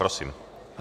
Prosím.